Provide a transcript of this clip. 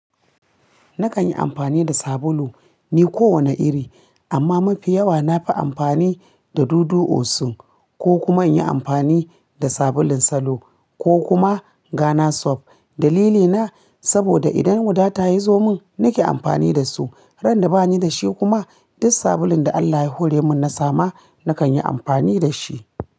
Nakan yi amfani da sabulu ne kowane iri, amma mafi yawa nafi amfani da Dudu Osun ko kuma in yi amfani da sabulun Salo ko kuma Gana Soft. Dalilina saboda idan wuta ta yi zomin nake amfani da su, ran da bani da shi kuma, duk sabulun da Allah ya hore mun na sama nakan yi amfani da shi.